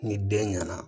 Ni den ɲɛna